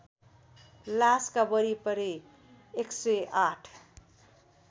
लासका वरिपरि १०८